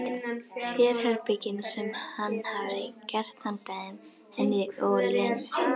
Sérherbergin sem hann hefði gert handa þeim, henni og Lenu.